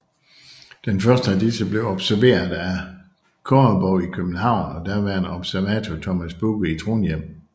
Den første af disse blev observeret af Horrebow i København og daværende observator Thomas Bugge i Trondhjem